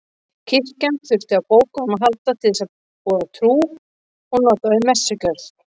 Kirkjan þurfti á bókum að halda til að boða trúna og nota við messugjörð.